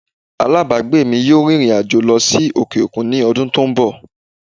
Alábàágbé mi yóò rìnrìn àjò lọ sí òkè òkun ní ọdún tó ń bọ̀